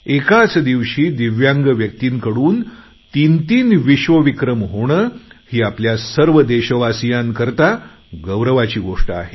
एकाच दिवशी दिव्यांग व्यक्तींकडून तीनतीन विश्वविक्रम होणे ही आपल्या सर्व देशवासियांकरता गौरवाची गोष्ट आहे